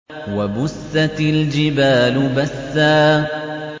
وَبُسَّتِ الْجِبَالُ بَسًّا